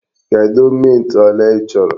Kedụ mint ole i chọrọ?